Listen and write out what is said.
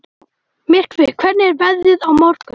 Myrkvi, hvernig er veðrið á morgun?